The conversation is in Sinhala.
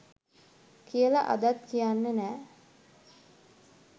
කියල අදත් කියන්නේ නෑ